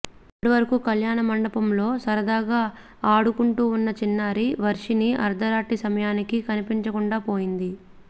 అప్పటివరకూ కళ్యాణమండపంలో సరదాగా ఆడుకుంటూ ఉన్న చిన్నారి వర్షిని అర్థరాత్రి సమయానికి కనిపించకుండా పోయింది